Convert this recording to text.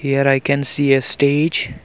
here i can see a stage.